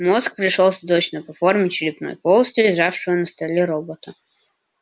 мозг пришёлся точно по форме черепной полости лежавшего на столе робота